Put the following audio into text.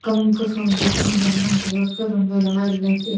kam kutho nu low kam gai ngan tega kuthow ngai le lah.